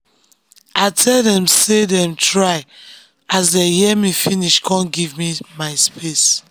i tell dem sey dem try as dey hear me finish kon give me my space.